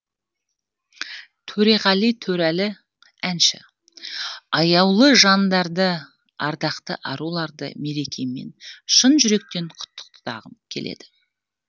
төреғали төреәлі әнші аяулы жандарды ардақты аруларды мерекемен шын жүректен құттықтағым келеді